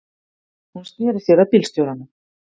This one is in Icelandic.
Hún sneri sér að bílstjóranum.